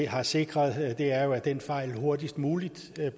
har sikret er jo at den fejl hurtigst muligt